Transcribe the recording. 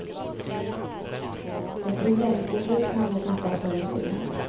Ett regeringsbeslut kan då fattas före jul.